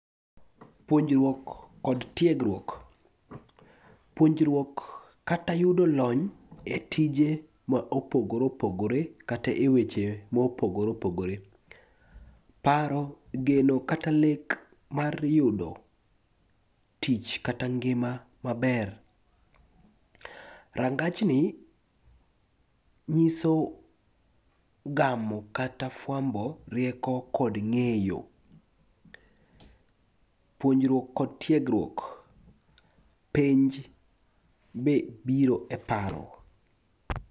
Puonjruok kod tiegruok. Puonjruok kata yudo lony e tije ma opogore opogore kata e weche ma opogore opogore. Paro, geno kata lek mar yudo tich kata ngima maber. Rangajni nyiso gamo kata fwambo rieko kod ng'eyo, puonjruok kod tiegruok, penj be biro e paro.